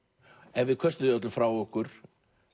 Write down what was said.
ef við köstum því öllu frá okkur